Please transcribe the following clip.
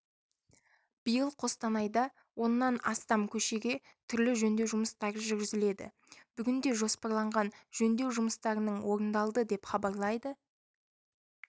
биыл қостанайда оннан астам көшеге түрлі жөндеу жұмыстары жүргізіледі бүгінде жоспарланған жөндеу жұмыстарының орындалды деп хабарлайды